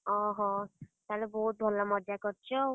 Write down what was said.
ଅହୋ, ତାହେଲେ ତ ବହୁତ୍ ଭଲ ମଜା କରିଚ ଆଉ।